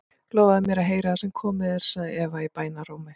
Lofaðu mér að heyra það sem komið er, segir Eva í bænarrómi.